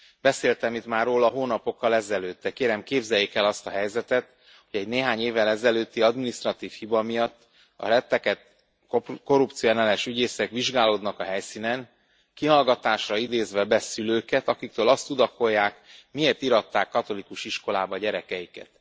Beszéltem itt már róla hónapokkal ezelőtt, de kérem, képzeljék el azt a helyzetet, hogy egy néhány évvel ezelőtti adminisztratív hiba miatt a rettegett korrupcióellenes ügyészek vizsgálódnak a helyszínen, kihallgatásra idézve be szülőket, akiktől azt tudakolják, miért íratták katolikus iskolába gyerekeiket.